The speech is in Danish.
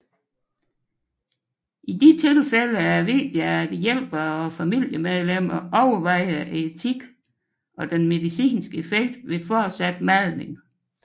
I disse tilfælde er det vigtigt at hjælpere og familiemedlemmer overvejer etikken og den medicinske effekt ved fortsat madning